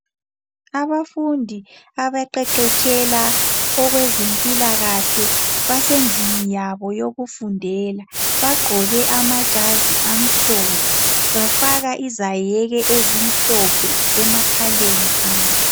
Abafundi abaqeqetshela okwezempilakahle basendlini yabo yokufundela, bagqoke amajazi amhlophe, bafaka izayeke ezimhlophe emakhaleni abo.